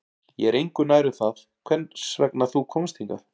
Ég er engu nær um það hvers vegna þú komst hingað